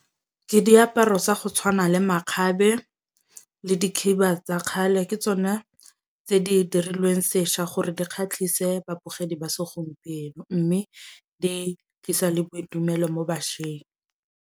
Ke diaparo sa go tshwana le makgabe le dikhiba tsa kgale. Ke tsona tse di dirilweng sešwa gore di kgatlhise babogedi ba segompieno. Mme di tlisa le boitumelo mo bašweng.